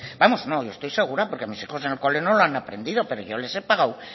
vamos yo estoy segura porque mis hijos en el cole no lo han aprendido pero yo les he pagado